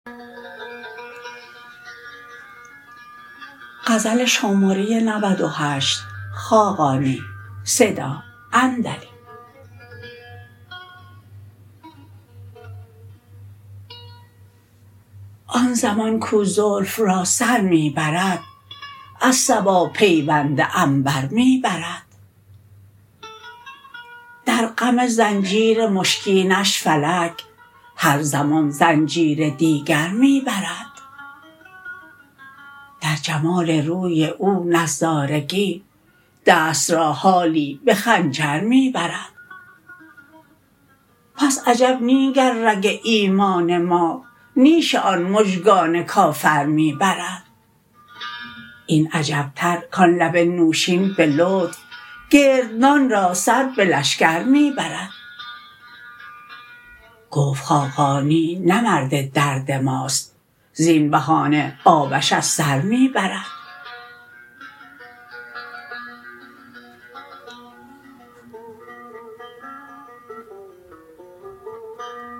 آن زمان کو زلف را سر می برد از صبا پیوند عنبر می برد در غم زنجیر مشکینش فلک هر زمان زنجیر دیگر می برد در جمال روی او نظارگی دست را حالی به خنجر می برد پس عجب نی گر رگ ایمان ما نیش آن مژگان کافر می برد این عجب تر کان لب نوشین به لطف گردنان را سر به شکر می برد گفت خاقانی نه مرد درد ماست زین بهانه آبش از سر می برد